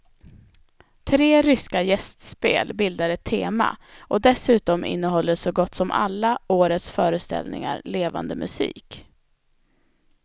Tre ryska gästspel bildar ett tema och dessutom innehåller så gott som alla årets föreställningar levande musik.